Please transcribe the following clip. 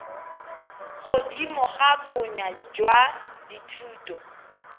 godimo ga bonnye jwa dithuto